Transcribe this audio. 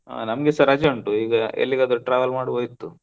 ಆ ನಮ್ಗೆ ಸ ರಜೆ ಉಂಟು ಈಗ ಎಲ್ಲಿಗಾದ್ರೂ travel ಮಾಡುವಾ ಇತ್ತು.